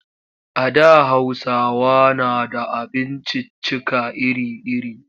A da Hausawa na da abinciccika iri-iri.